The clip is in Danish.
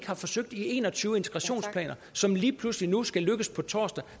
har forsøgt i en og tyve integrationsplaner som lige pludselig nu skal lykkes på torsdag